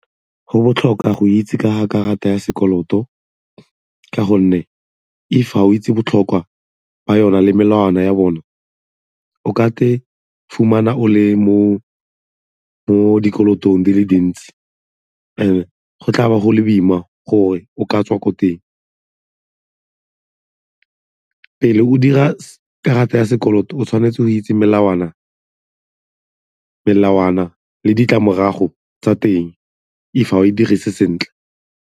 Go botlhokwa go itse ka karata ya sekoloto ka gonne if ga o itse botlhokwa ba yona le melawana ya bone, o ka fumana o le mo dikolotong di le dintsi and go tlabo go le boima gore o ka tswa ko teng. Pele o dira karata ya sekoloto, o tshwanetse o itse melawana le ditlamorago tsa teng if ga o e dirise sentle.